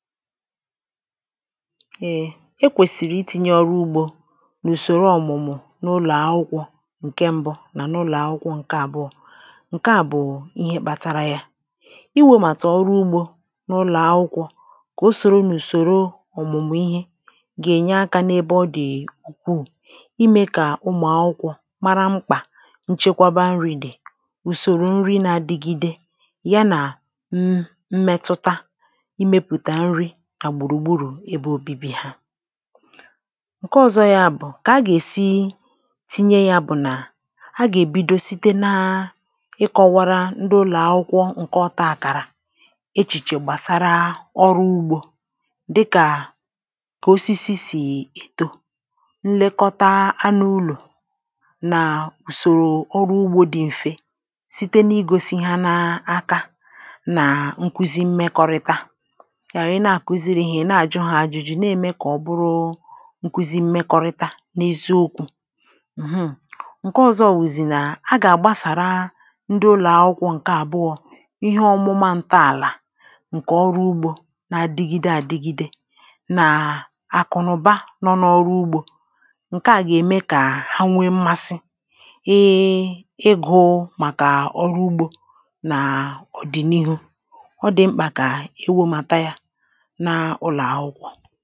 èe e kwèsìrì iti̇nyė ọrụ ugbȯ n’ùsòro ọ̀mụ̀mụ̀ n’ụlọ̀akwụkwọ̇ ǹke ṁbụ na n’ụlọ̀ akwụkwọ̇ ǹke àbụọ̇ ǹke àbụọ̇ ihe kpȧtȧrȧ yȧ iwėmàtà ọrụ ugbȯ n’ụlọ̀ akwụkwọ̇ kà o sòrò n’ùsòro ọ̀mụ̀mụ̀ ihe gà-ènye akȧ n’ebe ọ dị̀ ukwuù imė kà ụmụ̀ akwụkwọ̇ mara mkpà nchekwaba nri̇ dị̀ ùsòrò nri̇ na-adigide ya nà ṁ mẹtụta ǹke ọ̀zọ ya bụ̀ kà a gà-èsi tinye ya bụ̀ nà a gà-èbido site na ịkọ̇wara ndị ụlọ̀akwụkwọ ǹke ọtȧ àkàrà echìchè gbàsara ọrụ ugbȯ dịkà kà osisi sì èto nlekọta anụ̇ ụlọ̀ nà ùsòrò ọrụ ugbȯ dị m̀fe site na-igosi ya n’aka nà nkuzi mmekọrịta na-ème kà ọ̀bụrụ nkuzi mmekọrịta n’eziokwu̇ ǹke ọ̀zọ wụ̀zị̀ nà a gà-àgbasàra ndị ụlọ̀akwụkwọ ǹke àbụọ ihe ọmụma ntọàlà ǹkè ọrụ ugbȯ na-adigide àdigide nà àkụ̀nụ̀ba nọ n’ọrụ ugbȯ ǹke à gà-ème kà ha nwee mmasị ee ịgụ̇ màkà ọrụ ugbȯ n’ọ̀dị̀nihu ọ dị̀ mkpà kà e wėmata ya ǹkẹ̀ m